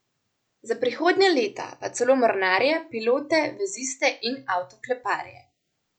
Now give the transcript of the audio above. Za prihodnja leta pa celo mornarje, pilote, veziste in avtokleparje.